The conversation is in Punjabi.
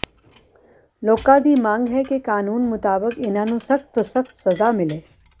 ਲੋਕਾਂ ਦੀ ਮੰਗ ਹੈ ਕਿ ਕਾਨੂੰਨ ਮੁਤਾਬਕ ਇਨ੍ਹਾਂ ਨੂੰ ਸਖ਼ਤ ਤੋਂ ਸਖ਼ਤ ਸਜ਼ਾ ਮਿਲੇ